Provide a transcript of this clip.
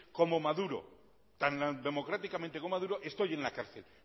como maduro estoy en la cárcel